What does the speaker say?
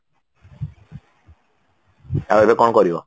ଆଉ ଏବେ କଣ କରିବ?